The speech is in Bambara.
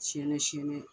Siyɛn siyɛn